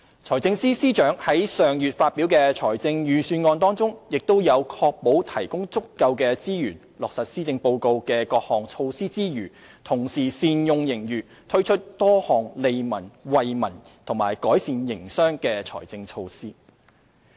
財政司司長在上月發表的財政預算案中，亦在確保提供足夠資源落實施政報告的各項措施之餘，同時善用盈餘，推出多項利民惠民及改善營商的財政措施。